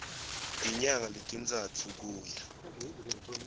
tinyanga letintsatfu kuya